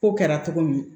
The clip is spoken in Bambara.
Ko kɛra cogo min